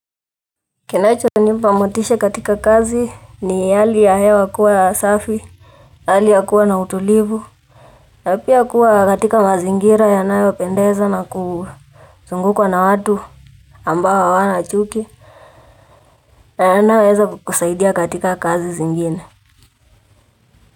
Kinacho nipa motisha katika kazi ni hali ya hewa kua safi hali ya kuwa na utulivu. Na pia kuwa katika mazingira yanayopendeza na kuzungukwa na watu ambao hawana chuki. Na yanayoweza kukusaidia katika kazi zingine.